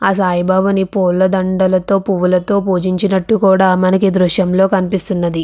ఆ సాయి బాబాని పూలదండతో పూలతో పూజించినట్టుగా కూడా మనకి దృశ్యంలో కనిపిస్తుంది.